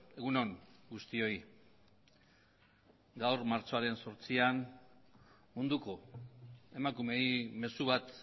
egun on guztioi gaur martxoaren zortzian munduko emakumeei mezu bat